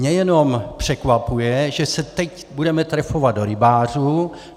Mě jenom překvapuje, že se teď budeme trefovat do rybářů.